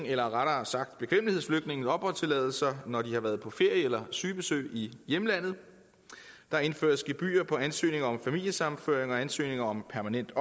eller rettere sagt bekvemmelighedsflygtninges opholdstilladelse når de har været på ferie eller sygebesøg i hjemlandet der indføres gebyr på ansøgning om familiesammenføring og på ansøgning om permanent